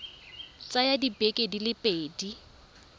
tsaya dibeke di le pedi